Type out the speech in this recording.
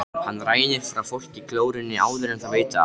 Hann rænir frá fólki glórunni áður en það veit af.